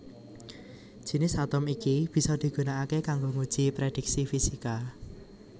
Jinis atom iki bisa digunakaké kanggo nguji prédhiksi fisika